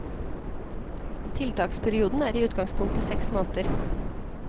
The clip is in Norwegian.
Tiltaksperioden er i utgangspunktet seks måneder.